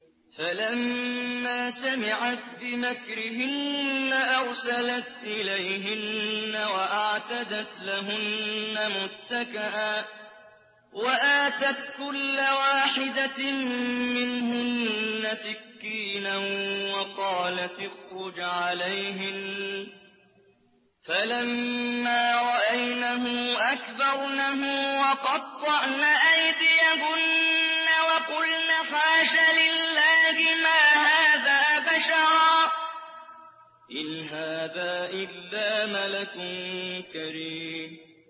فَلَمَّا سَمِعَتْ بِمَكْرِهِنَّ أَرْسَلَتْ إِلَيْهِنَّ وَأَعْتَدَتْ لَهُنَّ مُتَّكَأً وَآتَتْ كُلَّ وَاحِدَةٍ مِّنْهُنَّ سِكِّينًا وَقَالَتِ اخْرُجْ عَلَيْهِنَّ ۖ فَلَمَّا رَأَيْنَهُ أَكْبَرْنَهُ وَقَطَّعْنَ أَيْدِيَهُنَّ وَقُلْنَ حَاشَ لِلَّهِ مَا هَٰذَا بَشَرًا إِنْ هَٰذَا إِلَّا مَلَكٌ كَرِيمٌ